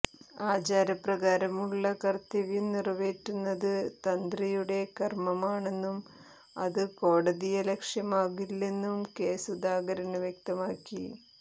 ആചാരപ്രകാരമുള്ള കര്ത്തവ്യം നിറവേറ്റുന്നത് തന്ത്രിയുടെ കര്മമാണെന്നും അത് കോടതിയലക്ഷ്യമാകില്ലെന്നും കെ സുധാകരന് വ്യക്തമാക്കി